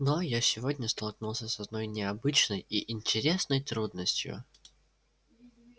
но я сегодня столкнулся с одной необычной и интересной трудностью